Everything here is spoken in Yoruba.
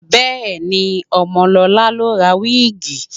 Bẹ́ẹ̀ni, Ọmọlọlá lọ ra wíìgì